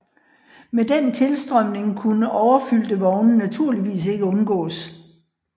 Med den tilstrømning kunne overfyldte vogne naturligvis ikke undgås